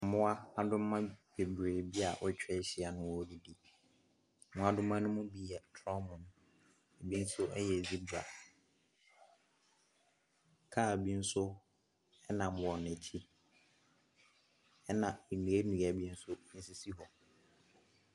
Mmoadoma bebree bi a wɔatwa ahyia na wɔredidi. Mmoa ne bi yɛ torɔmo, binom nso yɛ zebra, kaa bi nso nam wɔn akyi na nnuannua bi nso sisi hɔ.